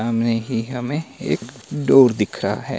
सामने ही हमे एक डूर दिख रहा है।